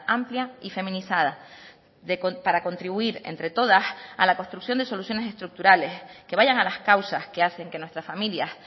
amplia y feminizada para contribuir entre todas a la construcción de soluciones estructurales que vayan a las causas que hacen que nuestras familias